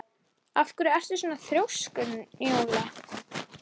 Ef til vill litirnir, svaraði baróninn.